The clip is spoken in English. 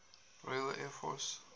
royal air force